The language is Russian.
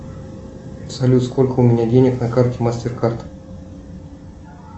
салют сколько у меня денег на карте мастер кард